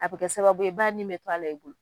A bi kɛ sababu ye , ba ni bɛ to a la i bolo.